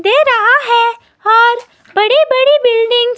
दे रहा है और बड़े बड़े बिल्डिंग्स --